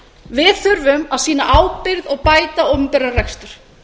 við þurfum að sýna ábyrgð og bæta opinberan rekstur